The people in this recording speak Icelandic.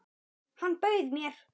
Hann bauð mér!